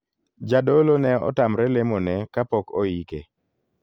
Jadolo ne otamre lemo ne kapok oike.